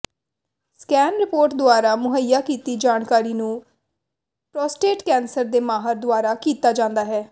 scan report ਦੁਆਰਾ ਮੁਹੱਈਆ ਕੀਤੀ ਜਾਣਕਾਰੀ ਨੂੰ ਪ੍ਰੋਸਟੇਟ ਕੈਂਸਰ ਦੇ ਮਾਹਰ ਦੁਆਰਾ ਕੀਤਾ ਜਾਂਦਾ ਹੈ